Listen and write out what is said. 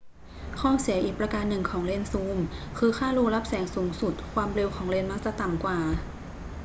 ข้อเสียอีกประการหนึ่งของเลนส์ซูมคือค่ารูรับแสงสูงสุด ความเร็ว ของเลนส์มักจะต่ำกว่า